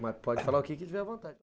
Não, pode falar o que tiver vontade.